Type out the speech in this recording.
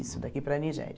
daqui para a Nigéria.